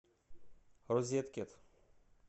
розеткед